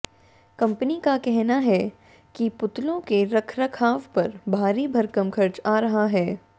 company का कहना है कि पुतलों के रखरखाव पर भारी भरकम खर्च आ रहा है